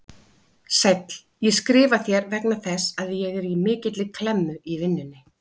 Sæll, ég skrifa þér vegna þess að ég er í mikilli klemmu í vinnunni.